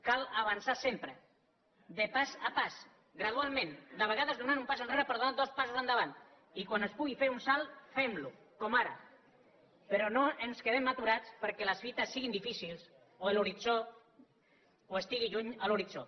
cal avançar sempre pas a pas gradualment de vegades donant un pas enrere per donar dos passos endavant i quan es pugui fer un salt fem lo com ara però no ens quedem aturats perquè les fites siguin difícils o estigui lluny l’horitzó